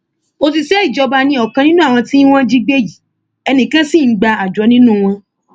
òṣìṣẹ ìjọba ni ọkan nínú àwọn tí wọn jí gbé yìí ẹnì kan ṣì ń gba àjọ nínú wọn